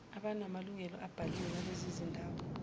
abanamalungelo abhaliwe ngalezizindawo